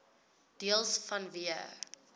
deels vanweë